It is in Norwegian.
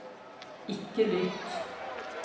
ikke lytt